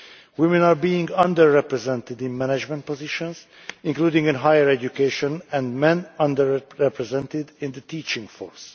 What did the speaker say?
Women are being under represented in management positions, including in higher education, and men under represented in the teaching force.